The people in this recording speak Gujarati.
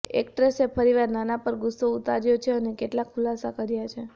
એક્ટ્રેસે ફરીવાર નાના પર ગુસ્સો ઉતાર્યો છે અને કેટલાક ખુલાસા કર્યાં છે